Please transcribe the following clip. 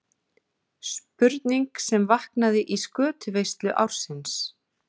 Spurning sem vaknaði í skötuveislu ársins.